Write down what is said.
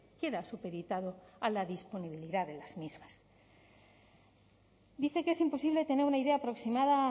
queda supeditado a la disponibilidad de las mismas dice que es imposible tener una idea aproximada